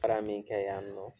Tara min kɛ yan